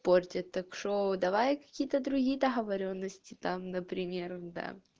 портит ток-шоу давай какие-то другие договорённости там например да